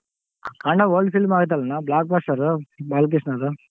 ಅಖಂಡ old film ಅಗಾಯಿತಲ್ಲಣ್ಣ blockbuster ಬಾಲ್ಕೃಷ್ಣದು.